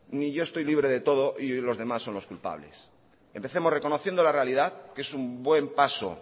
ni yo estoy libre de todo y los demás son los culpables empecemos reconociendo la realidad que es un buen paso